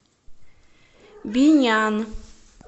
бинян